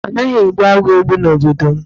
A naghi egbu agwọ́ egbu n'obodo m.